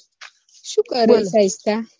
શું કરો